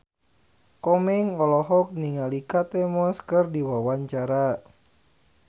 Komeng olohok ningali Kate Moss keur diwawancara